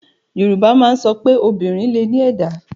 Yorùbá má ń sọpé, obìnrin lẹ ní ẹ̀dá.